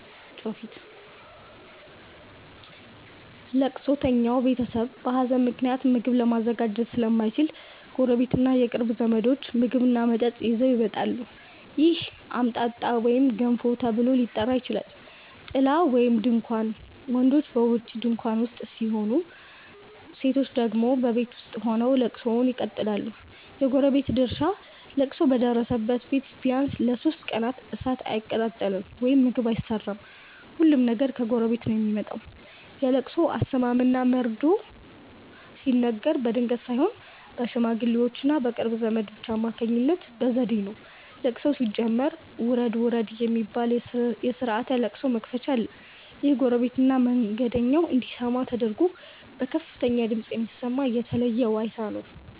ለቅሶተኛው ቤተሰብ በሀዘን ምክንያት ምግብ ለማዘጋጀት ስለማይችል፣ ጎረቤትና የቅርብ ዘመዶች ምግብና መጠጥ ይዘው ይመጣሉ። ይህ "አምጣጣ" ወይም "ገንፎ" ተብሎ ሊጠራ ይችላል። ጥላ (ድንኳን): ወንዶች በውጪ ድንኳን ውስጥ፣ ሴቶች ደግሞ በቤት ውስጥ ሆነው ለቅሶውን ይቀጥላሉ። የጎረቤት ድርሻ: ለቅሶ በደረሰበት ቤት ቢያንስ ለሦስት ቀናት እሳት አይቀጣጠልም (ምግብ አይሰራም)፤ ሁሉም ነገር ከጎረቤት ነው የሚመጣው። የለቅሶ አሰማም እና መርዶ መርዶ ሲነገር በድንገት ሳይሆን በሽማግሌዎችና በቅርብ ዘመዶች አማካኝነት በዘዴ ነው። ለቅሶው ሲጀመር "ውረድ ውረድ" የሚባል የስርዓተ ለቅሶ መክፈቻ አለ። ይህም ጎረቤትና መንገደኛው እንዲሰማ ተደርጎ በከፍተኛ ድምፅ የሚሰማ የተለየ ዋይታ ነው።